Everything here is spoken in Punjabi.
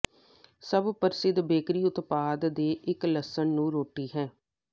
ਸਭ ਪ੍ਰਸਿੱਧ ਬੇਕਰੀ ਉਤਪਾਦ ਦੇ ਇੱਕ ਲਸਣ ਨੂੰ ਰੋਟੀ ਹੈ